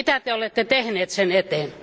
Mitä Te olette tehnyt sen eteen?